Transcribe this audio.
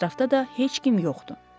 Ətrafda da heç kim yoxdu.